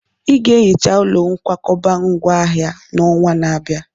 Ị ga-ehicha ụlọ nkwakọba ngwá ahịa n'ọnwa na-abịa!